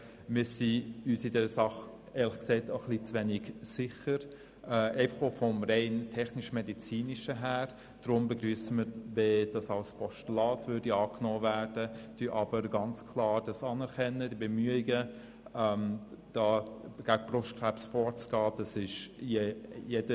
Wir sind uns in dieser Sache – auch rein vom technischmedizinischen Inhalt her – ehrlich gesagt auch ein bisschen zu wenig sicher, darum begrüssen wir es, wenn dieser Vorstoss als Postulat angenommen wird, anerkennen aber ganz klar die Bemühungen, gegen Brustkrebs vorzugehen.